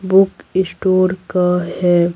Book store का है।